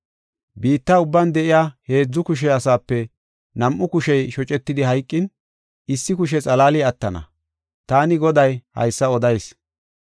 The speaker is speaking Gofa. “Biitta ubban de7iya heedzu kushe asaape nam7u kushey shocetidi hayqin, issi kushe xalaali attana. Taani Goday haysa odayis.